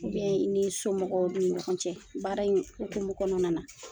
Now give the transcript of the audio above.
Ou bien i ni somɔgɔw ni ɲɔgɔn cɛ baara in hukumu kɔnɔna na